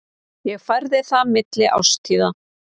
Ég færði það milli árstíða.